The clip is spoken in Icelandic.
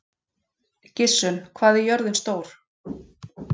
Gissunn, hvað er jörðin stór?